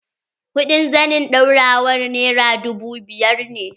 Kuɗin zanin ɗaurawar nera dubu biyar ne.